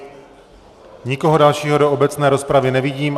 Nikoho dalšího do obecné rozpravy nevidím.